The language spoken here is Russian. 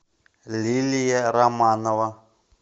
лилия романова